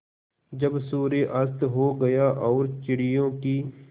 जब सूर्य अस्त हो गया और चिड़ियों की